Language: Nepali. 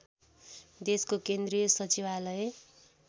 देशको केन्द्रीय सचिवालय